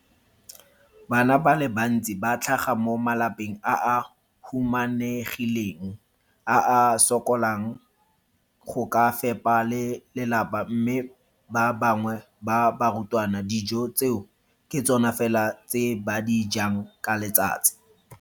Bana ba le bantsi ba tlhaga mo malapeng a a humanegileng a a sokolang go ka fepa ba lelapa mme ba bangwe ba barutwana, dijo tseo ke tsona fela tse ba di jang ka letsatsi.